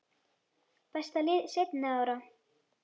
Besta lið seinni ára?